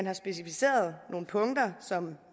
er specificeret nogle punkter som